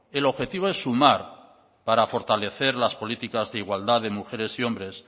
el objetivo es sumar para fortalecer las políticas de igualdad de mujeres y hombres